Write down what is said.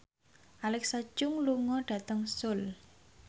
Alexa Chung lunga dhateng Seoul